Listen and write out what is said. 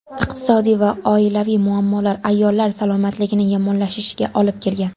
Iqtisodiy va oilaviy muammolar ayollar salomatligining yomonlashishiga olib kelgan.